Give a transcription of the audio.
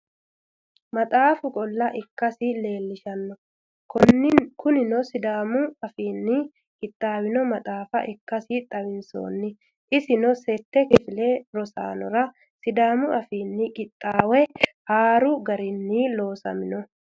Maxaafu qoolla ikkasi leellishano, koninino sidaamu afinni qixaawinno maxaafa ikasi xawisanno, isino sette kifile rosanora sidaamu afiini qinaawe haaru garinni loosamino